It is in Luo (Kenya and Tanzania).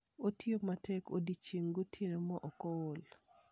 Otiyo matek odiechieng' gotieno maok ool.